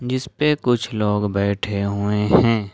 जिस पे कुछ लोग बैठे हुए हैं।